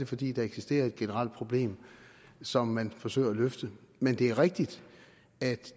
fordi der eksisterer et generelt problem som man forsøger at løfte men det er rigtigt at